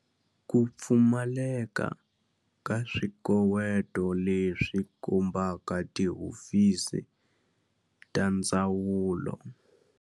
Ku pfumaleka ka swikoweto leswi kombaka tihofisi ta ndzawulo.